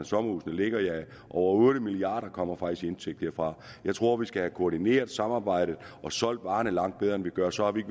sommerhusene ligger over otte milliard kroner kommer faktisk i indtægt derfra jeg tror vi skal have koordineret samarbejdet og solgt varen langt bedre end vi gør og så har vi